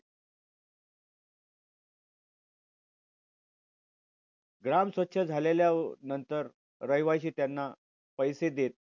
ग्राम स्वच्छ झालेल्या अह नंतर रहिवासी त्यांना पैसे देत.